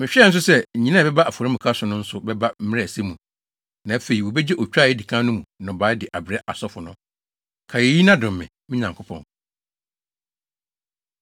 Mehwɛɛ nso sɛ, nnyina a ɛba afɔremuka so no nso bɛba mmere a ɛsɛ mu, na afei wobegye otwa a edi kan no mu nnɔbae de abrɛ asɔfo no. Kae eyi na dom me, me Nyankopɔn.